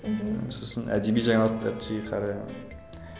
мхм сосын әдеби жаңалықтарды жиі қараймын